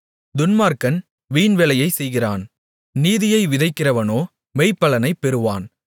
துன்மார்க்கன் வீண்வேலையைச் செய்கிறான் நீதியை விதைக்கிறவனோ மெய்ப்பலனைப் பெறுவான்